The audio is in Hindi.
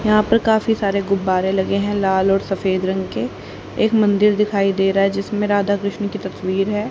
यहां पर काफी सारे गुब्बारे लगे है लाल और सफेद रंग के एक मंदिर दिखाई दे रहा जिसमें राधा कृष्ण की तस्वीर है।